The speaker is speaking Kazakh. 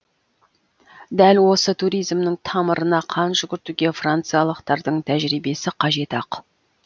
дәл осы туризмнің тамырына қан жүгіртуге франциялықтардың тәжірибесі қажет ақ